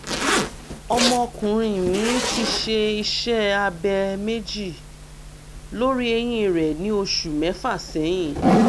ọmọkùnrin mi ti ṣe iṣẹ́ abẹ méjì lórí ẹ̀yìn rẹ̀ ní oṣù mẹ́fà sẹ́yìn